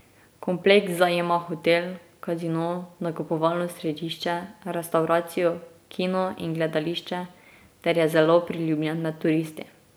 Kompleks zajema hotel, casino, nakupovalno središče, restavracijo, kino in gledališče ter je zelo priljubljen med turisti.